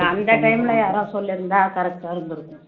அந்த time ல யாராவது சொல்லியிருந்தா correct ஆ இருந்திருக்கும்